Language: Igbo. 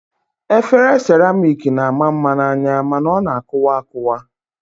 Efere seramik na-ama mma n'anya mana ọ na-akụwa akụwa